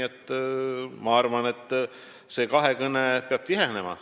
Ma arvan, et see kahekõne peab tihenema.